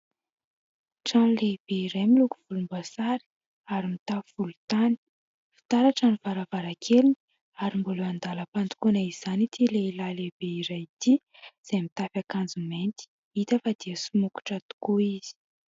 Trano lehibe iray miloko volombasary ary mitafo volontany; fitaratra ny varavarakeliny ary mbola andalam-pandokoana izany ity lehilahy lehibe iray ity izay mitafy akanjo mainty, hita fa dia somokotra tokoa izy.